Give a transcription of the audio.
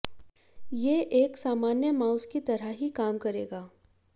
ये एश्क सामान्य माउस की तरह ही काम करेगा